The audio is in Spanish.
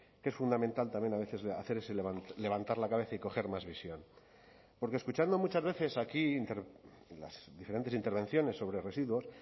que es fundamental también a veces hacer ese levantar la cabeza y coger más visión porque escuchando muchas veces aquí las diferentes intervenciones sobre residuos